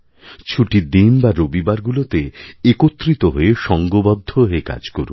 ছুটির দিন বা রবিবারগুলোতে একত্রিত হয়ে সংঘবদ্ধ হয়ে কাজ করুন